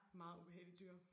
Meget ubehageligt dyr